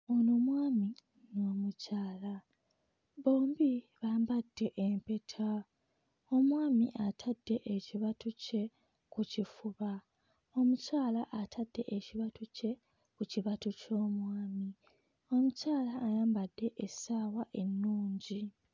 Ono mwami n'omukyala, bombi bambadde empeta, omwami atadde ekibatu kye ku kifuba, omukyala atadde ekibatu kye ku kibatu ky'omwami, omukyala ayambadde essaawa ennungi.